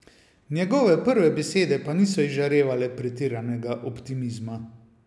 Njegove prve besede pa niso izžarevale pretiranega optimizma.